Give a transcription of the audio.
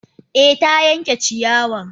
Eh ta yanke ciyawan.